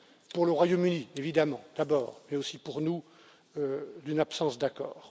pour le Royaume Uni, évidemment d'abord, et aussi pour nous, d'une absence d'accord.